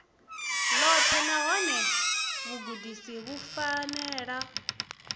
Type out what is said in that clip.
ḽoṱhe nahone vhugudisi vhu fanela